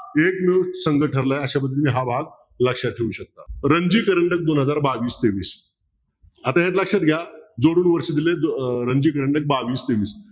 एकजूट संघ ठरलाय अश्या पद्धतीने हा भाग लक्षात ठेऊ शकता दोन हजार बावीस तेवीस आता एक लक्षात घ्या जोडून वर्ष दिले बावीस तेवीस